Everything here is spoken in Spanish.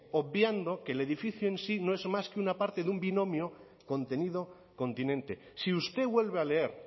obviando que el edificio en sí no es más que una parte de un binomio contenido continente si usted vuelve a leer